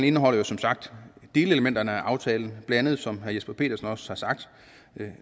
indeholder som sagt delelementerne i aftalen blandt andet som herre jesper petersen også har sagt